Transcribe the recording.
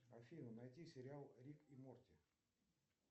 афина найди сериал рик и морти